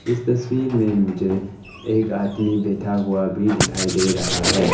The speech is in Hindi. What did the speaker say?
इस तस्वीर में मुझे एक आदमी बैठा हुआ भी दिखाई दे रहा है।